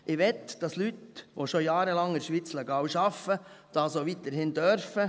Ich will, dass Leute, die schon jahrelang in der Schweiz legal arbeiten, das auch weiterhin tun dürfen.